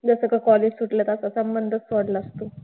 जस का college सुटलं का आपला संबंधच तोडलास तू.